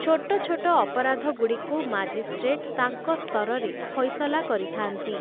ଛୋଟ ଛୋଟ ଅପରାଧଗୁଡ଼ିକୁ ମାଜିଷ୍ଟ୍ରେଟ୍ ତାଙ୍କ ସ୍ତରରେ ଫଇସଲା କରିଥାନ୍ତି ।